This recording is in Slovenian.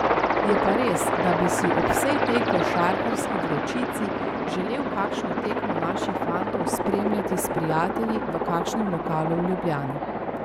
Je pa res, da bi si ob vsej tej košarkarski vročici želel kakšno tekmo naših fantov spremljati s prijatelji v kakšnem lokalu v Ljubljani.